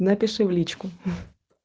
напиши в личку